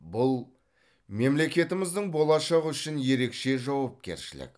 бұл мемлекетіміздің болашағы үшін ерекше жауапкершілік